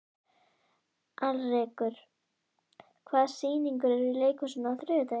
Alrekur, hvaða sýningar eru í leikhúsinu á þriðjudaginn?